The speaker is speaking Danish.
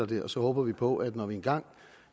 det og så håber vi på at vi når vi engang